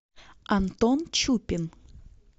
антон чупин